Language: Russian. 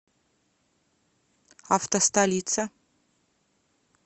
автостолица